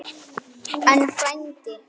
En, frændi